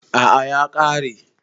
A'a ya kare